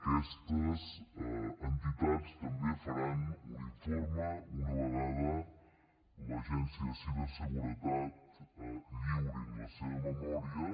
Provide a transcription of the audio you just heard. aquestes entitats també faran un informe una vegada l’agència de ciberseguretat lliuri la seva memòria